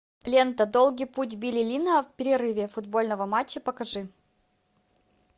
лента долгий путь билли линна в перерыве футбольного матча покажи